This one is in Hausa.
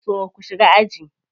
So ku shiga aji.